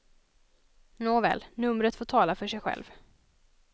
Nåväl, numret får tala för sig själv.